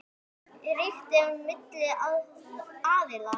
Traust ríkti milli aðila.